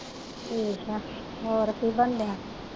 ਠੀਕ ਆ ਹੋਰ ਕੀ ਬਣਨ ਦਿਆਂ।